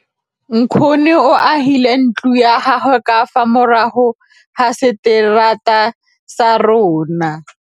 Nkgonne o agile ntlo ya gagwe ka fa morago ga seterata sa rona.